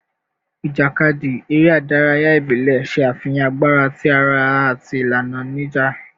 Ijakadi, ere idaraya ibile, ṣe afihan agbara ti ara ati ilana ni ija